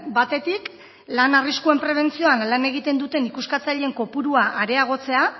batetik lan arriskuen prebentzioan lan egiten duten ikuskatzaileen kopurua areagotzea